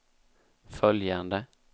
följande